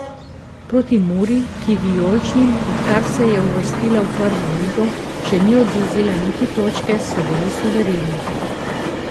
Proti Muri, ki vijoličnim, odkar se je uvrstila v prvo ligo, še ni odvzela niti točke, so bili suvereni.